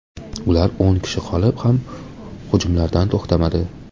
Ular o‘n kishi qolib ham hujumlardan to‘xtamadi.